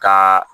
Ka